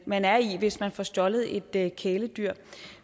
man er i hvis man får stjålet et et kæledyr